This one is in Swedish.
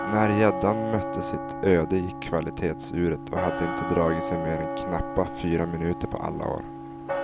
När gäddan mötte sitt öde gick kvalitetsuret och hade inte dragit sig mer än knappa fyra minuter på alla år.